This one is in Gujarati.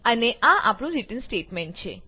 અને આ આપણું રીટર્ન સ્ટેટમેંટ છે